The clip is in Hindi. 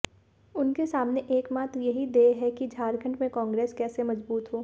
उनके सामने एकमात्र यही ध्येय है कि झारखंड में कांग्रेस कैसे मजबूत हो